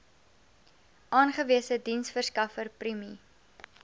aangewese diensverskaffer prime